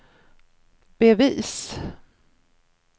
bevis